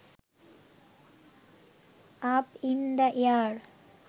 up in the air